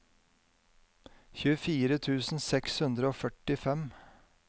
tjuefire tusen seks hundre og førtifem